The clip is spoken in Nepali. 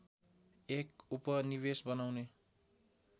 एक उपनिवेश बनाउने